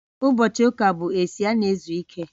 ụbochị ụka bụ esi a na-ezu ike